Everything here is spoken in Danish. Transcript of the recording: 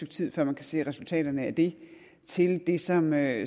tid før man kan se resultaterne af det til det som er